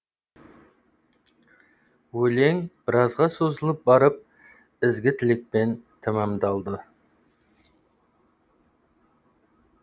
өлең біразға созылып барып ізгі тілекпен тәмамдалды